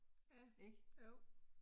Ja, jo